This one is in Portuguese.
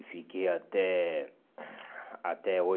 E fiquei até até